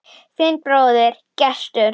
Þinn bróðir, Gestur.